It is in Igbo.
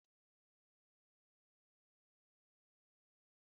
Mmiri anụ na-enye ofe ekpomeekpo